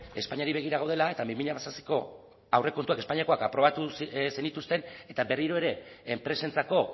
espainiari begira gaudela eta bi mila hamazazpiko espainiako aurrekontuak aprobatu zenituzten eta berriro ere enpresentzako